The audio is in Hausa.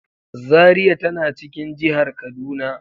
Zaria tana cikin jihar kaduna.